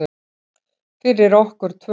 Fyrir okkur tvö.